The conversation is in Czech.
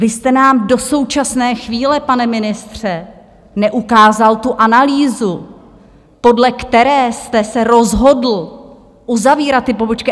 Vy jste nám do současné chvíle, pane ministře, neukázal tu analýzu, podle které jste se rozhodl uzavírat ty pobočky.